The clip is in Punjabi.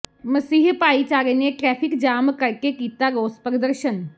ਮਸੀਹ ਭਾਈਚਾਰੇ ਨੇ ਟਰੈਫ਼ਿਕ ਜਾਮ ਕਰਕੇ ਕੀਤਾ ਰੋਸ ਪ੍ਰਦਰਸ਼ਨ